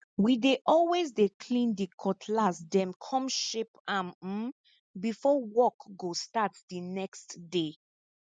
we dey always dey clean di cutlass dem come sharp am um before work go start di next day